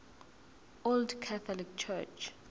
old catholic church